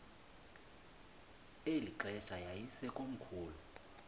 eli xesha yayisekomkhulu